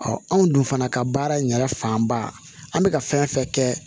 anw dun fana ka baara in yɛrɛ fanba an bɛ ka fɛn fɛn kɛ